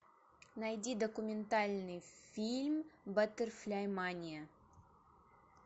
найди документальный фильм баттерфляймания